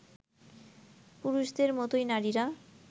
পুরুষদের মতোই নারীরা